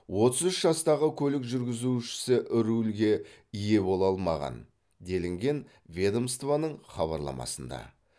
отыз іш жастағы көлік жүргізушісі рульге ие бола алмаған делінген ведомствоның хабарламасында